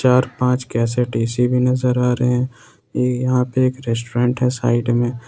चार पांच cassette AC भी नजर आ रहे हैं यहाँ पे एक रेस्टोरेंट है साइड में।